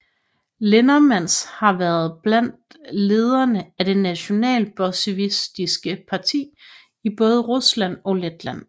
Lindermans har været blandt lederne af det Nationalbolsjevistiske Parti i både Rusland og Letland